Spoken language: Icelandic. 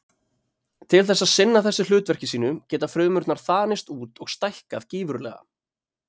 Til þess að sinna þessu hlutverki sínu geta frumurnar þanist út og stækkað gífurlega.